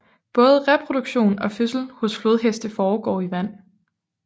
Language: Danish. Både reproduktion og fødsel hos flodheste foregår i vand